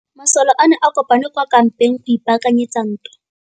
Masole a ne a kopane kwa kampeng go ipaakanyetsa ntwa.